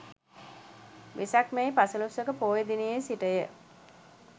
වෙසක් මැයි පසළොස්වක පෝය දිනයේ සිට ය.